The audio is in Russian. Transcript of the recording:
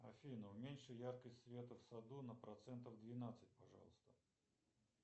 афина уменьши яркость света в саду на процентов двенадцать пожалуйста